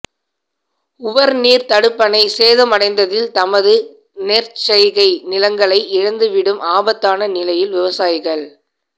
உவர் நீர் தடுப்பணை சேதமடைந்ததில் தமது நெற்செய்கை நிலங்களை இழந்துவிடும் ஆபத்தான நிலையில் விவசாயிகள்